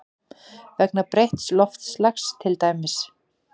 Vegna breytts loftslags til dæmis?